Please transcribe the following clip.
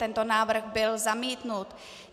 Tento návrh byl zamítnut.